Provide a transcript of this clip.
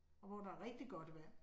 Og hvor der er rigtigt godt vand